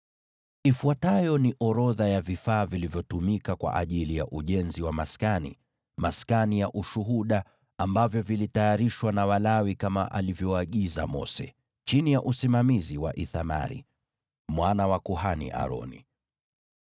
Ifuatayo ni orodha ya vifaa vilivyotumika kwa ajili ya ujenzi wa maskani, maskani ya Ushuhuda, ambavyo vilitayarishwa na Walawi kama alivyoagiza Mose, chini ya usimamizi wa Ithamari, mwana wa kuhani Aroni.